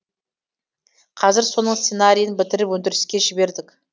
қазір соның сценарийін бітіріп өндіріске жібердік